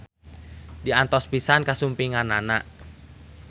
Diantos pisan kasumpinganana